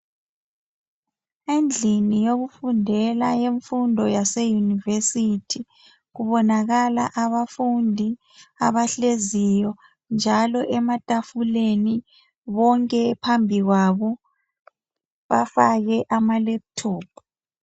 Endlini yokufundela yemfundo yaseyunivesithi kubonakala abafundi abahleziyo njalo ematafuleni bonke phambi kwabo bafake amalephuthophu.